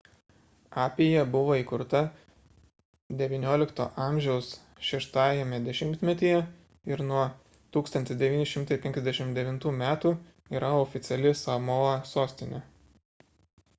apija buvo įkurta xix a 6-ajame dešimtmetyje ir nuo 1959 m yra oficiali samoa sostinė